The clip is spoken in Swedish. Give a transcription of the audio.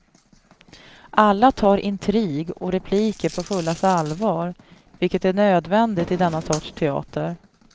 Alla tar intrig och repliker på fullaste allvar, vilket är nödvändigt i denna sorts teater.